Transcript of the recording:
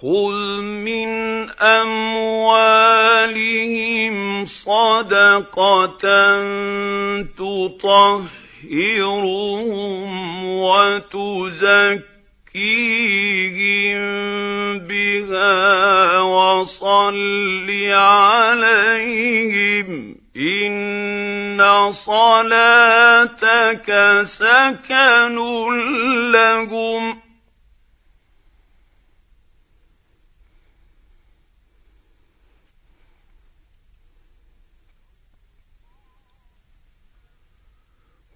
خُذْ مِنْ أَمْوَالِهِمْ صَدَقَةً تُطَهِّرُهُمْ وَتُزَكِّيهِم بِهَا وَصَلِّ عَلَيْهِمْ ۖ إِنَّ صَلَاتَكَ سَكَنٌ لَّهُمْ ۗ